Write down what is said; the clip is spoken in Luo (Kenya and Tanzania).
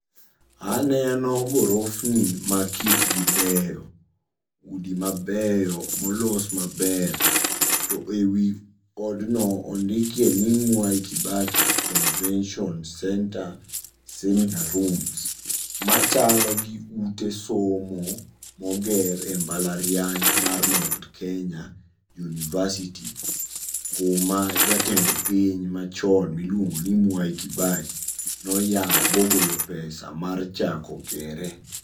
Aneno gorofni makitgi beyo, udi mabeyo molos maber. To e wi odno ondikie ni Mwai Kibaki Convention Centre Seminar Rooms machalo gi ute somo moger e mbala riany mar Mount Kenya University, kuma jatend piny machon miluongoni Mwai Kibaki noyao bogolo pesa mar chako gere.